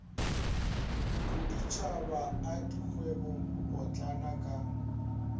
boditšhaba a dikgwebo potlana ka